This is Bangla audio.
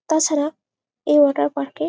তাছাড়া এই ওয়াটার পার্ক -এ --